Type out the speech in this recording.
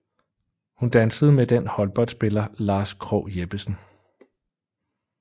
Hun dansede med den håndboldspiller Lars Krogh Jeppesen